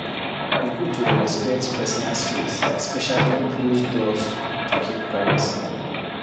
E good to dey respect personal space especially closed doors to keep privacy.